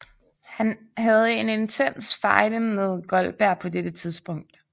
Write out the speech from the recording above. Han havde en intens fejde med Goldberg på dette tidspunkt